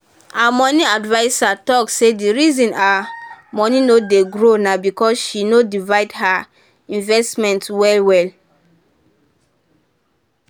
her money adviser talk say the reason her money no dey grow na because she no divide her investment well.